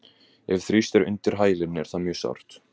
Ef þrýst er undir hælinn er það mjög sárt.